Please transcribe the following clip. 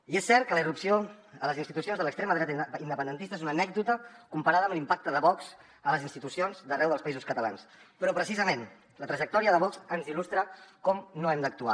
i és cert que la irrupció a les institucions de l’extrema dreta independentista és una anècdota comparada amb l’impacte de vox a les institucions d’arreu dels països catalans però precisament la trajectòria de vox ens il·lustra com no hem d’actuar